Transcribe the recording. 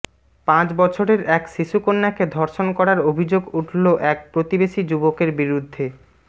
পাঁচ বছরের এক শিশুকন্যাকে ধর্ষণ করার অভিযোগ উঠল এক প্রতিবেশী যুবকের বিরুদ্ধে